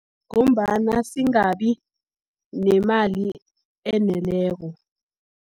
Ngombana singabi, nemali eneleko.